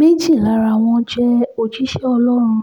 méjì lára wọn jẹ́ òjíṣẹ́ ọlọ́run